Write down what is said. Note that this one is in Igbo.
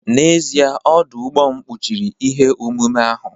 N'ezie, ọdụ ụgbọ m kpuchiri ihe omume ahụ